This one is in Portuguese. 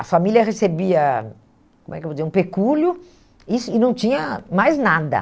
A família recebia, como é que eu vou dizer, um pecúlio e isso e não tinha mais nada.